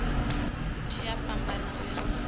tshi a fhambana uya nga